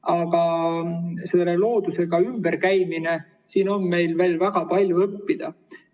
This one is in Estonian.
Aga selle loodusega ümberkäimisel on meil veel väga palju õppida.